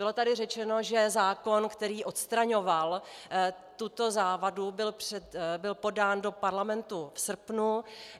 Bylo tady řečeno, že zákon, který odstraňoval tuto závadu, byl podán do Parlamentu v srpnu.